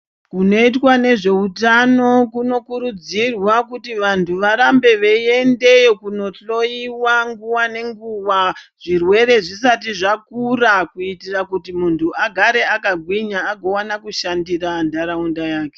Kunoitwa nezveutano kunokurudzirwa kuti vantu varambe veiyendeyo kunohloyiwa nguwa nenguwa zvirwere zvisati zvakura kuitira kuti muntu arambe akagwinya agowana kushandira nharaunda yake